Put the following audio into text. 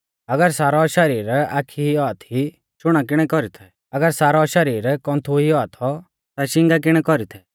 अगर सारौ शरीर आखी ई औआ थी ता शुणा किणै कौरी थै अगर सारौ शरीर कौन्थु ई औआ थौ ता शींगा किणै कौरी थै